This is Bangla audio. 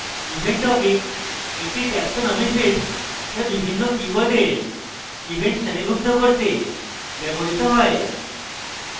event topic একটি taxonomy field যা বিভিন্ন কীওয়ার্ডের event শ্রেণীভুক্ত করতে ব্যবহৃত হয়